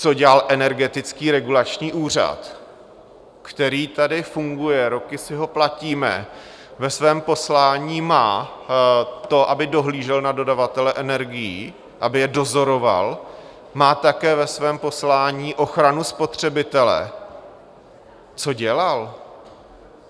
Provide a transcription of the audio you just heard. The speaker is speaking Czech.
Co dělal Energetický regulační úřad, který tady funguje, roky si ho platíme, ve svém poslání má to, aby dohlížel na dodavatele energií, aby je dozoroval, má také ve svém poslání ochranu spotřebitele, co dělal?